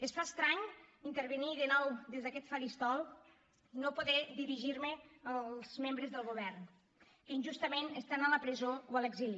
es fa estrany intervenir de nou des d’aquest faristol i no poder dirigir me als membres del govern que injustament estan a la presó o a l’exili